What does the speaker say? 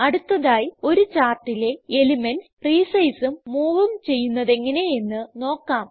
അടുത്തതായി ഒരു ചാർട്ടിലെ എലിമെന്റ്സ് resizeഉം moveഉം ചെയ്യുന്നതെങ്ങനെയെന്ന് നോക്കാം